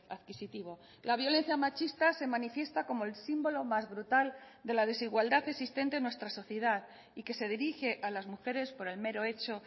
adquisitivo la violencia machista se manifiesta como el símbolo más brutal de la desigualdad existente en nuestra sociedad y que se dirige a las mujeres por el mero hecho